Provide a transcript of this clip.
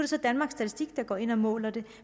så danmarks statistik der går ind og måler det